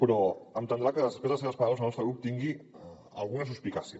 però entendrà que després de les seves paraules el nostre grup tingui alguna suspicàcia